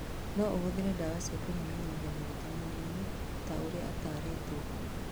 No ũhũthĩre ndawa cia kũnyihanyihia maguta mwĩrĩ-inĩ ta ũrĩa ataritwo